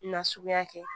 Nasuguya kɛ